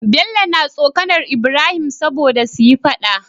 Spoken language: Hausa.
Bello na tsokAnar ibrahim sobada suyi faɗa